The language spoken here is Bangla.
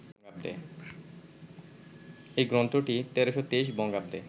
এই গ্রন্থটি ১৩২৩ বঙ্গাব্দে